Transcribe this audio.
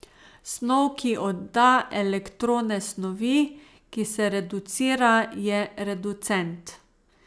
Snov, ki odda elektrone snovi, ki se reducira, je reducent.